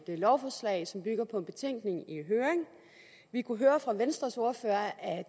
lovforslag som bygger på en betænkning i høring vi kunne høre fra venstres ordfører at